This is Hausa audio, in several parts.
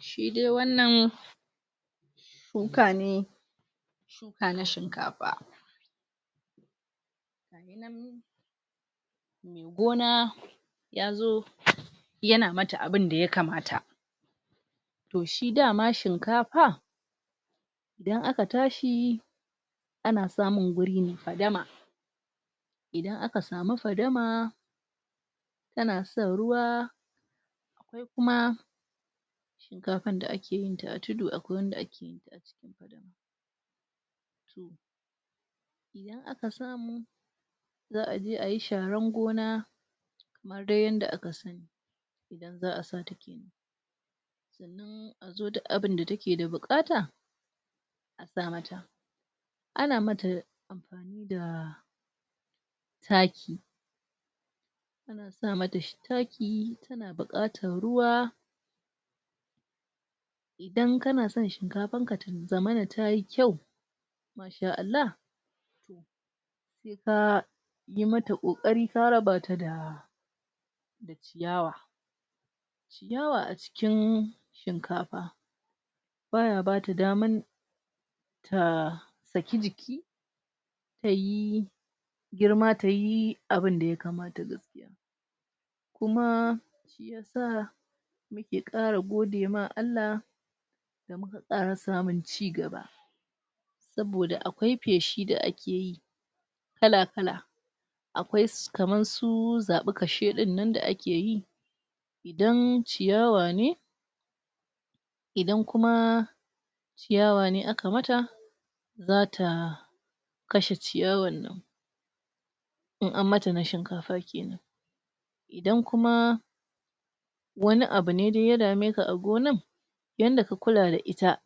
shide wannan shuka ne ana shinkafa gona ƴazo yana mata abinda ya kamata toh shi dama shinkafa idan aka tashiyi ana samun wuri mai fadama idan aka samu fadama yana son ruwa kuma shinkafan da akeyi a tudu da wanda akeyi akasa zaʼaje ayi sharan gona ade yanda akasa zaʼa sata azo duk abinda takeda bukata asa mata ana mata da taki asa mata shi taki tana bukatan ruwa idan kanason shinkafarka tazamana tayi kyau insha Allah yi mata kokari ka rabatada ciyawa ciyawa acikin shinkafa baya bata daman ta saki jiki tayi girma tayi abinda ya kamata kuma saa ya kara gode ma Allah kara samun ciganba saboda akwai feshi da akeyi kala kala akwaisu su kaman su zabi kasheni da akeyi idan ciyawa ne idan kuma ciyawa ne aka mata zataa kashe ciyawan nan in an mata na shinkafa kemnan idan kuma wani abune ya dameka a gonar yanda ka kula da ita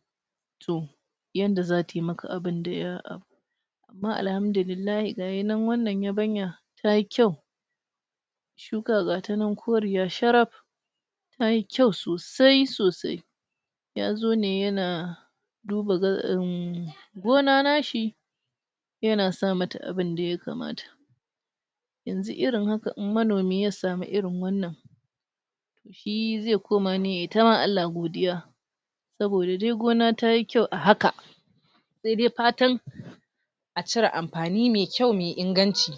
toh yanda zata yi maka abinda yaa ma alhamdulillah gayi nan wannan yabanya tayi kyau shuka gatanan koriya sharaf tayi kyau sosai sosai yazone yana duba ga um gona nashi yana sa mata abinda ya kamata yanzu irin haka in manomi yasamu irin wannan shi ze komane yayi ta ma Allah godiya sabida dai gona tayi kyau ahaka saide fatan acire amfani mai kyau mai inganci